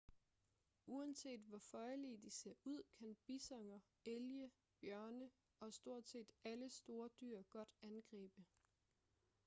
uanset hvor føjelige de ser ud kan bisoner elge bjørne og stort set alle store dyr godt angribe